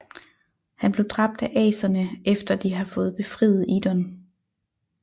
Han blev dræbt af aserne efter de har fået befriet Idun